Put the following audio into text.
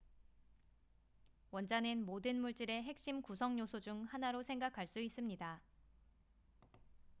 원자는 모든 물질의 핵심 구성 요소 중 하나로 생각할 수 있습니다